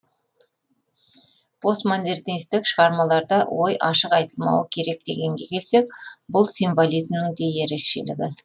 постмодернистік шығармаларда ой ашық айтылмауы керек дегенге келсек бұл символизмнің де ерекшелігі